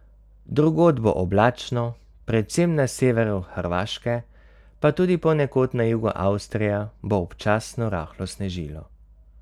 Drugod bo oblačno, predvsem na severu Hrvaške, pa tudi ponekod na jugu Avstrije bo občasno rahlo snežilo.